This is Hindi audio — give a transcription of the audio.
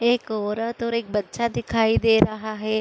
एक औरत और एक बच्चा दिखाई दे रहा है।